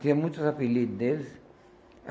Tinha muitos apelido deles.